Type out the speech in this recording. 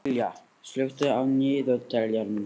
Liljá, slökktu á niðurteljaranum.